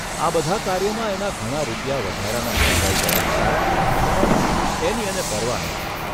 આ બધા કાર્યોમાં એના ઘણા રૂપિયા વધારાના ખર્ચાઇ ગયા હતા, પણ એની એને પરવા નહોતી.